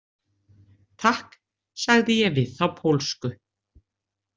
Takk, sagði ég við þá pólsku.